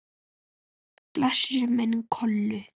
Blessuð sé minning Kollu.